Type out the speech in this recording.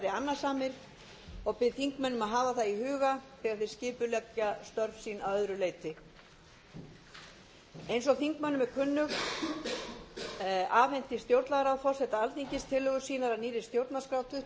annasamir og bið þingmenn að hafa það í huga þegar þeir skipuleggja störf sín að öðru leyti eins og þingmönnum er kunnugt afhenti stjórnlagaráð forseta alþingis tillögur sínar að nýrri stjórnarskrá